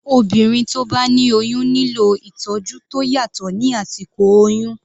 Obìnrin tí ó bá ní oyún nílò ìtọ́jú tó yàtọ̀ ní àsìkò oyún.